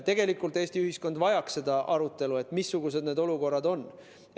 Tegelikult, Eesti ühiskond vajaks seda arutelu, missugused need olukorrad on.